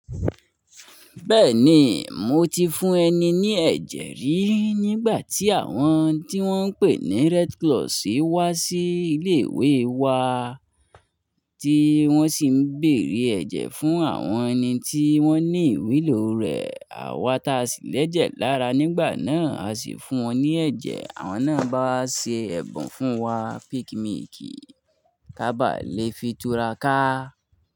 Bẹ́ẹ̀ni, mo ti fún ẹni ní ẹ̀jẹ̀ rí nígbà tí àwọn tí wọ́n ń pè ní Red Cross wá sí ilé ìwé wa tí wọ́n sì ń bèrè ẹ̀jẹ̀ fún àwọn ẹni tí wọ́n ní ìwúlò rẹ̀. Àwa ta ṣì lẹ́jẹ̀ lára nígbà náà, a sì fún wọn ní ẹ̀jẹ̀. Àwọn náà bá ṣe ẹ̀bùn fún wa, peak milk, ká bá lè fi tura ká.